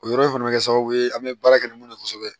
O yɔrɔ in fana bɛ kɛ sababu ye an bɛ baara kɛ ni mun ye kosɛbɛ